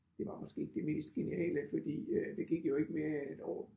Det var måske ikke det mest geniale fordi øh der gik jo ikke mere end et år